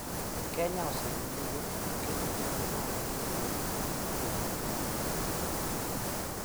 Kenya osedhi nyime gi keto teko mare e yore mag yuto mwandu mag mbui .